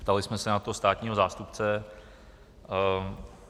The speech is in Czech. Ptali jsme se na to státního zástupce.